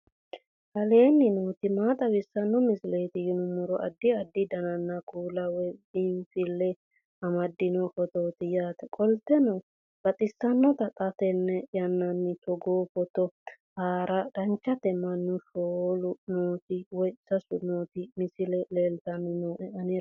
aleenni nooti maa xawisanno misileeti yinummoro addi addi dananna kuula woy biinsille amaddino footooti yaate qoltenno baxissannote xa tenne yannanni togoo footo haara danchate mannu shoolu nooti woy sasu nooti misile leeltanni nooe anera